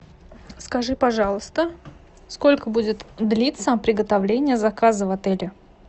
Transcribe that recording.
скажи пожалуйста сколько будет длиться приготовление заказа в отеле